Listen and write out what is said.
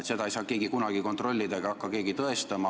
Seda ei saa keegi korralikult kontrollida ega hakka keegi tõestama.